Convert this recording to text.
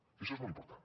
i això és molt important